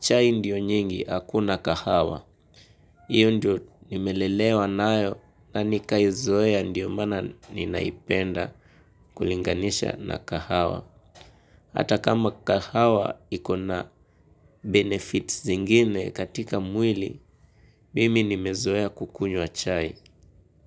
chai ndio nyingi, hakuna kahawa. Iyo ndio nimelelewa nayo na nikaizoea ndio maana ninaipenda kulinganisha na kahawa. Hata kama kahawa ikona benefit zingine katika mwili, mimi nimezoea kukunywa chai.